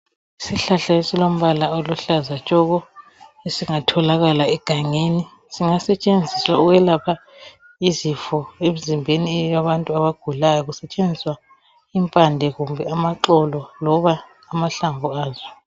Isihlahla esilombala oluhlaza tshoko, esingatholakala egangeni, singasetshenziswa ukwelapha izifo emzimbeni yabantu abagulayo. Kusetshenziswa impande kumbe amaxolo loba amahlamvu azo.